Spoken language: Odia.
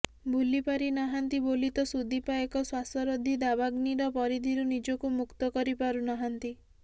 ଭୁଲି ପାରିନାହାନ୍ତି ବୋଲି ତ ସୁଦୀପା ଏକ ଶ୍ୱାସରୋଧୀ ଦାବାଗ୍ନିର ପରିଧିରୁ ନିଜକୁ ମୁକ୍ତ କରିପାରୁନାହାନ୍ତି